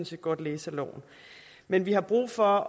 set godt læse af loven men vi har brug for